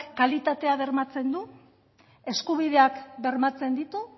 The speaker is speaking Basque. kalitatea bermatzen du eskubideak bermatzen ditu